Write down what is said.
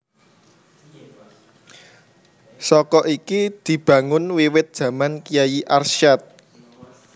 Saka iki dibangun wiwit jaman Kyai Arsyad